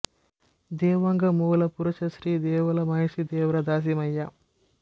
ದೇವಾಂಗ ಮೂಲ ಪುರುಷ ಶ್ರೀ ದೇವಲ ಮಹರ್ಷಿ ದೇವರ ದಾಸಿಮಯ್ಯ